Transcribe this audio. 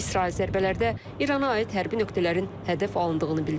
İsrail zərbələrdə İrana aid hərbi nöqtələrin hədəf alındığını bildirib.